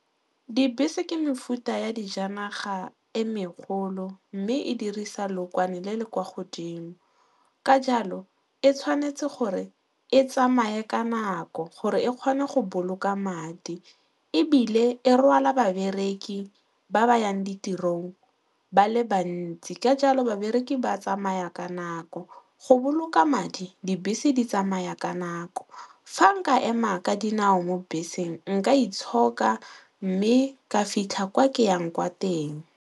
Dibese ke mefuta ya dijanaga e megolo mme e dirisa lookwane le le kwa godimo ka jalo e tshwanetse gore e tsamaye ka nako gore e kgone go boloka madi ebile e rwala babereki ba ba yang ditirong ba le bantsi ka jalo babereki ba tsamaya ka nako. Go boloka madi, dibese di tsamaya ka nako. Fa nka ema ka dinao mo beseng, nka itshoka mme ka fitlha kwa ke yang kwa teng.